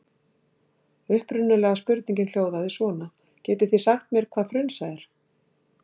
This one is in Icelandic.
Upprunalega spurningin hljóðaði svona: Getið þig sagt mér hvað frunsa er?